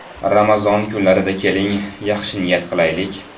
Ramazon kunlarida keling, yaxshi niyat qilaylik.